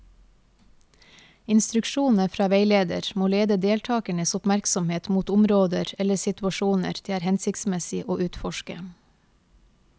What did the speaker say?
Instruksjonene fra veileder må lede deltakernes oppmerksomhet mot områder eller situasjoner det er hensiktsmessig å utforske.